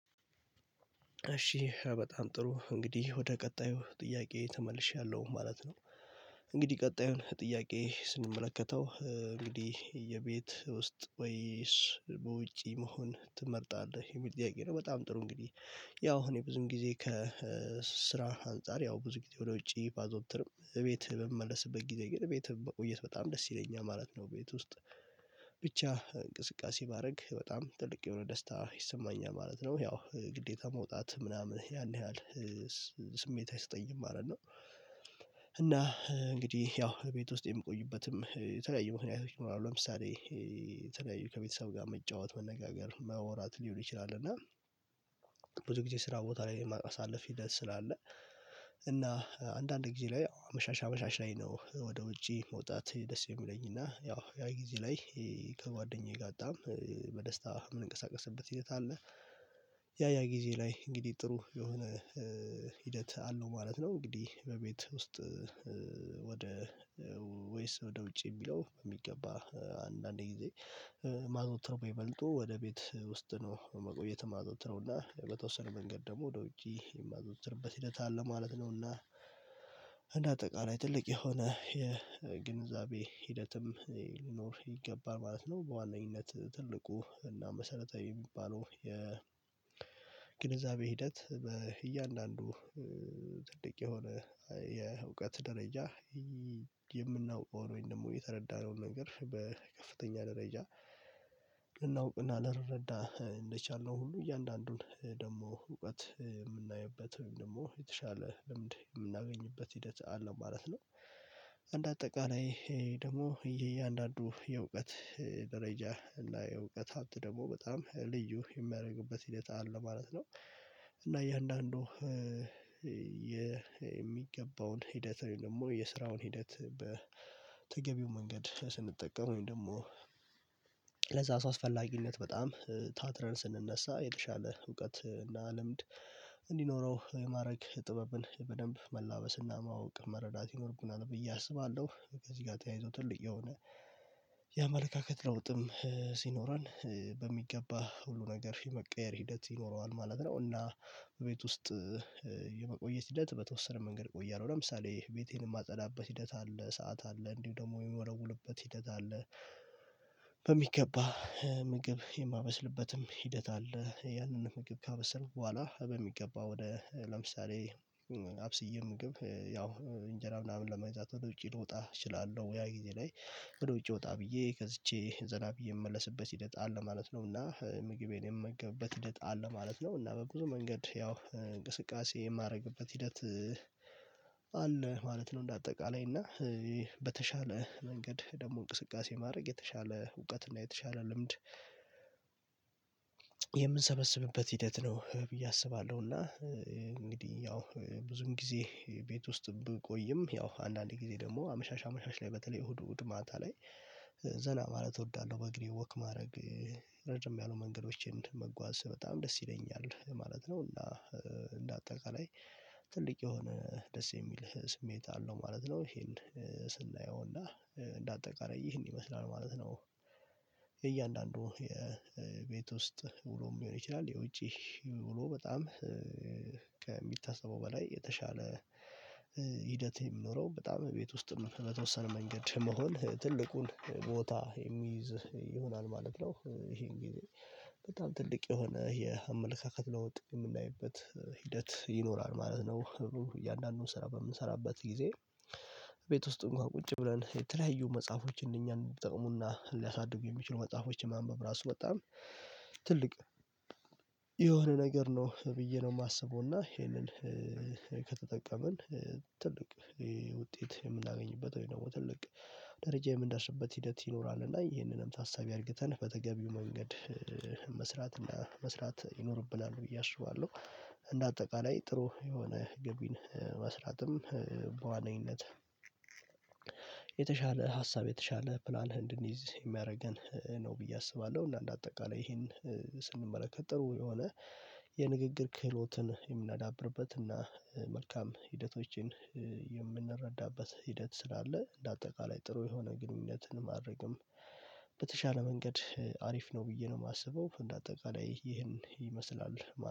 እሺ በጣም ጥሩ እንግዲህ ወደ ቀጣዩ ጥያቄ ተመልሻለሁ ማለት ነው። እንግዲህ ቀጣዩን ጥያቄ ስንመለከተው እንግዲህ የቤት ውስጥ ወይስ በውጪ መሆን ትመርጣለህ ይሄ ጥያቄ ነው? በጣም ጥሩ እንግዲህ ያው እኔ ብዙም ጊዜ ከስራ አንፃር ያው ብዙ ጊዜ ወደ ውጪ ባዘወትርም ቤት በምመለስበት ጊዜ ግን ቤትም መቆየት በጣም ደስ ይለኛል ማለት ነው። ቤት ውስጥ ብቻ እንቅስቃሴ ባደርግ በጣም ትልቅ የሆነ ደስታ ይሰማኛል ማለት ነው ያው ግዴታ መውጣት ምናምን ያን ያህል ስሜት አይሰጠኝም ማለት ነው። እና እንግዲህ ያው ቤት ውስጥ የምቆይበትም የተለያዩ ምክኛቶች ይኖሯል ለምሳሌ የተለያዩ ከቤተሰብ ጋር መጫወት መነጋገር ማወራት ሊሆን ይችላል። እና ብዙ ጊዜ ስራ ቦታ ላይ የማሳልፍ ሂደት ስላለ እና አንዳንድ ጊዜ ላይ አመሻሻ አመሻሻ ላይ ነው። ወደ ውጪ መውጣት ደስ የሚለኝ እና ያው ያ ጊዜ ላይ ከጓደኛዬ ጋር በጣም በደስታ የምንቀሳቀስበት ሂደት አለ። ያ ያ ጊዜ ላይ እንግዲህ ጥሩ የሆነ ሂደት አለው ማለት ነው። እንግዲህ በቤት ውስጥ ወደ ወይስ ወደ ውጭ የሚለው በሚገባ አንዳንድ ጊዜ የማዞተር በይበልጡ ወደ ቤት ውስጥ ነው መቆየት የማዘውትረው እና በተወሰነ መንገድ ደግሞ ወደ ውጪ የማዘውትርበት ሂደት አለ ማለት ነው። እና እንደ አጠቃላይ ትልቅ የሆነ የግንዛቤ ሂደትም ሊኖር ይገባል ማለት ነው። በዋነኝነት ትልቁ እና መሰረታዊ የሚባለው የግንዛቤ ሂደት በእያንዳንዱ ትልቅ የሆነ የእውቀት ደረጃ የምናውቀውን ወይም ደግሞ የተረዳነውን ነገር በከፍተኛ ደረጃ ልናውቅና ልንረዳ እንደቻልነው ሁሉ እያንዳንዱን ደግሞ እውቀት የምናይበት ወይም ደግሞ የተሻለ ልምድ የምናገኝበት ሂደት አለ ማለት ነው። አንደ አጠቃላይ ደግሞ የእያንዳንዱ የእውቀት ደረጃ እና የእውቀት ሀብት ደግሞ በጣም ልዩ የሚያደርግበት ሂደት አለ ማለት ነው። እና እያንዳንዱ የሚገባውን ሂደት ደግሞ የስራውን ሂደት በተገቢው መንገድ ስንጠቀም ወይም ደግሞ ለዛ አስፈላጊነት በጣም ታትረን ስንነሳ የተሻለ እውቀት እና ልምድ እንዲኖረው የማድረግ ጥበብን በደንብ መላበስና ማወቅ መረዳት ይኖርብናል። ብዬ አስባለሁ ከዚህ ጋር ተያይዞ ትልቅ የሆነ የአመለካከት ለውጥም ሲኖረን በሚገባ ሁሉ ነገር የመቀየር ሂደት ይኖረዋል ማለት ነው። እና ቤት ውስጥ የመቆየት ሂደት በተወሰነ መንገድ እቆያለሁ ለምሳሌ ቤቴን የማጸዳበት ሂደት አለ ሰዓት አለ እንዲሁ ደግሞ የምወለውልበት ሂደት አለ። በሚገባ ምግብ የማመስልበትም ሂደት አለ ያንን ምግብ ካበሰልኩ በኋላ በሚገባ ወደ ለምሳሌ አብስዬ ምግብ ያው እንጀራ ምናምን ለመግዛት ወደ ውጪ ልወጣ እችላለሁ ያ ጊዜ ላይ ወደ ውጪ ወጣ ብዬ ገዝቼ ዘና ብዬ የምመለስበት ሂደት አለ ማለት ነው። እና ምግቤን የምመገብበት ሂደት አለ ማለት ነው እና በብዙ መንገድ ያው እንቅስቃሴ የማደርግበት ሂደት አለ ማለት ነው። እንደ አጠቃላይ እና በተሻለ መንገድ ደግሞ እንቅስቃሴ ማድረግ የተሻለ እውቀት እና የተሻለ ልምድ የምንሰበስብበት ሂደት ነው ብዬ አስባለሁ። እና እንግዲህ ያው ብዙም ጊዜ ቤት ውስጥ ብቆይም ያው አንዳንዴ ጊዜ ደግሞ አመሻሽ አመሻሽ ላይ በተለይ እሁድ እሁድ ማታ ላይ ዘና ማለት እወዳለሁ በእግሬ ወክ ማድረግ ረዘም ያሉ መንገዶችን መጓዝ በጣም ደስ ይለኛል ማለት ነው። እና እንደ አጠቃላይ ትልቅ የሆነ ደስ የሚልህ ስሜት አለው ማለት ነው። ይሄን ስናየው እንደ አጠቃላይ ይህን ይመስላል ማለት ነው። የእያንዳንዱ የቤት ውስጥ ውሎም ሊሆን ይችላል የውጪ ውሎ በጣም ከሚታሰበው በላይ የተሻለ ሂደት የሚኖረው በጣም ቤት ውስጥ በተወሰነ መንገድ መሆን ትልቁን ቦታ ይሆናል ማለት ነው። ይሄን ጊዜ በጣም ትልቅ የሆነ የአመለካከት ለውጥ የምናይበት ሂደት ይኖራል ማለት ነው። እያንዳንዱን ስራ በምንሰራበት ጊዜ ቤት ውስጥ እንኳን ቁጭ ብለን የተለያዩ መጽሐፎችን እኛን እንዲጠቅሙና ሊያሳድጉ የሚችሉ መጽሐፎችን ማንበብ ራሱ በጣም ትልቅ የሆነ ነገር ነው ብዬ ነው የማስበው እና ይሄንን ከተጠቀመን ትልቅ ውጤት የምናገኝበት ወይ ደግሞ ትልቅ ደረጃ የምንደርስበት ሂደት ይኖራል እና ይሄንንም ታሳቢ አድርግተን በተገቢው መንገድ መስራት እና መስራት ይኖርብናል ብዬ አስባለሁ። እንደ አጠቃላይ ጥሩ የሆነ ግቢን መስራትም በዋነኝነት የተሻለ ሀሳብ የተሻለ ፕላን እንድንይዝ የሚያደርገን ነው ብዬ አስባለሁ። እና እንደ አጠቃላይ ይሄን ስንመረከት ጥሩ የሆነ የንግግር ክህሎትን የምናዳብርበት እና መልካም ሂደቶችን የምንረዳበት ሂደት ስላለ እንደ አጠቃላይ ጥሩ የሆነ ግንኙነትን ማድረግም በተሻለ መንገድ አሪፍ ነው ብዬ ነው የማስበው እንደ አጠቃላይ ይህን ይመስላል።